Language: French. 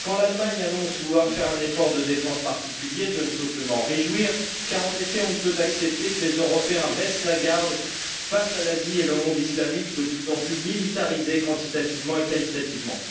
Quand l'Allemagne annonce vouloir faire un effort de défense particulier, je ne peux que m'en réjouir car, en effet, on ne peut accepter que les Européens baissent la garde face à l'Asie et au monde islamique de plus en plus militarisés quantitativement et qualitativement.